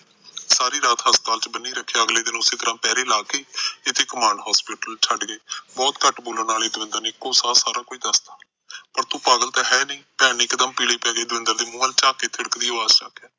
ਸਾਰੀ ਰਾਤ ਹਸਪਤਾਲ ਚ ਬਨੀ ਰੱਖਿਆ ਅਗਲੇ ਦਿਨ ਉਸੇ ਤਰਾ ਪੈਰੇ ਲਾਕੇ ਇਥੇ ਕਮਾਂਡ ਹੋਸਪੀਟਲ ਚ ਛੱਡਗੇ ਬਹੁਤ ਘੱਟ ਬੋਲਣ ਵਾਲੇ ਦਵਿੰਦਰ ਨੇ ਇਕੋ ਸਾਹ ਸਾਰਾ ਦੱਸਤਾ ਪਰ ਤੂੰ ਪਾਗਲ ਤਾਂ ਹੈਨੀ ਭੈਣ ਨੇ ਇੱਕ ਦਮ ਪੀਲੇ ਪੈ ਦਵਿੰਦਰ ਦੇ ਮੁੰਹ ਵੱਲ ਝਾਕ ਕੇ ਖਿੜ ਖਿੜੀ ਅਵਾਜ ਚ ਆਖਿਆ